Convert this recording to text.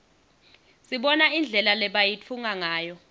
sibona indlela lebayitfunga ngayo